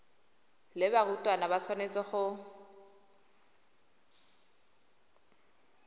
le barutwana ba tshwanetse go